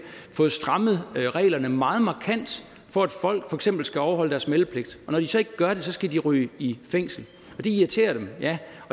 fået strammet reglerne meget markant for at folk for eksempel skal overholde deres meldepligt og når de så ikke gør det skal de ryge i fængsel det irriterer dem ja